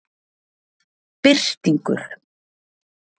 Birtingur